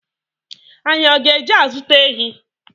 Anyị ọ ga-eje azuta ehi?